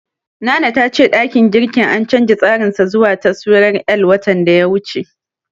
Nana ta ce ɗakin girkin an canja tsarin sa zuwa taswirar L, watan da ya wuce.